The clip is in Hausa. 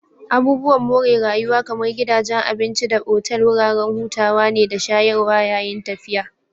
Abubuwan more rayuwa kamar gidajen abinci da otal wuraren hutawa ne da shayarwa yayin tafiya